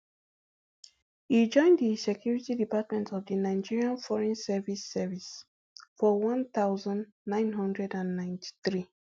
e join di security department of di nigerian foreign service service for one thousand, nine hundred and ninety-three